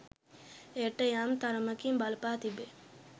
එයට යම් තරමකින් බලපා තිබේ